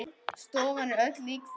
Stofan er öll líkföl.